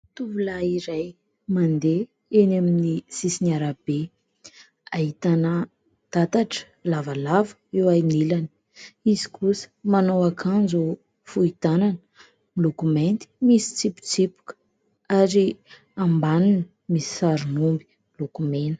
Tovolahy iray mandeha eny amin'ny sisin'ny arabe. Ahitana tatatra lavalava eo anilany. Izy kosa manao ankanjo fohy tanana miloko mainty misy tsipitsipika ary ambaniny misy sarin'omby miloko mena.